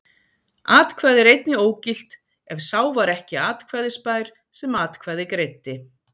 Atkvæði er einnig ógilt ef sá var ekki atkvæðisbær sem atkvæði greiddi.